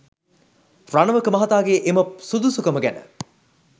රණවක මහතාගේ එම සුදුසුකම ගැන